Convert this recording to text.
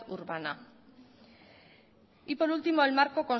urbana y por último el marco